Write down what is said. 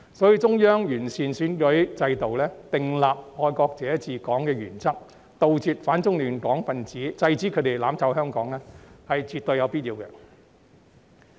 所以，中央完善選舉制度、訂立"愛國者治港"原則，以杜絕反中亂港分子，制止他們"攬炒"香港，是絕對有必要的。